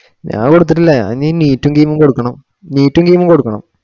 ഞാൻ കൊടുത്തിട്ടില്ല ഞാ എനി neet ഉം KEAM ഉം കൊടുക്കണം neet ഉം KEAM കൊടുക്കണം